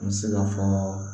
N bɛ se ka fɔ